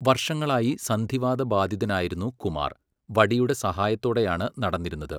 വർഷങ്ങളായി സന്ധിവാത ബാധിതനായിരുന്നു കുമാർ, വടിയുടെ സഹായത്തോടെയാണ് നടന്നിരുന്നത്.